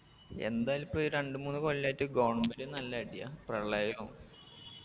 എന്തായാലിപ്പൊ ഈ രണ്ട് മൂന്ന് കൊല്ലായിട്ട് government ന് നല്ലടിയാ പ്രളയോം